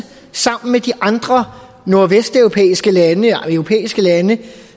sammen med de andre europæiske lande